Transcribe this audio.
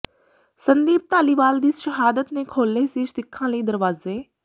ਸੰਦੀਪ ਧਾਲੀਵਾਲ ਦੀ ਸ਼ਹਾਦਤ ਨੇ ਖੋਲ੍ਹੇ ਸੀ ਸਿੱਖਾਂ ਲਈ ਦਰਵਾਜ਼ੇ